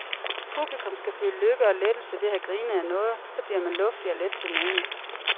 Publikum skal føle lykke og lettelse ved at have grinet ad noget, så bliver man luftig og let til mode.